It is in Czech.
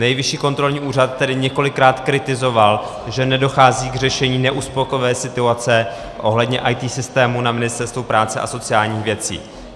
Nejvyšší kontrolní úřad tedy několikrát kritizoval, že nedochází k řešení neuspokojivé situace ohledně IT systémů na Ministerstvu práce a sociálních věcí.